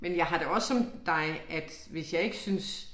Men jeg har det også som dig at hvis jeg ikke synes